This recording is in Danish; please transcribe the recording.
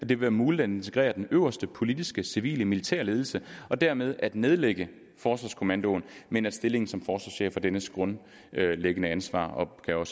vil være muligt at integrere den øverste politiskecivilemilitære ledelse og dermed at nedlægge forsvarskommandoen men at stillingen som forsvarschef og dennes grundlæggende ansvar opgaver